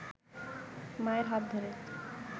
মায়ের হাত ধরে